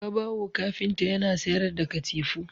Babawo kafinta yana sayar da katifu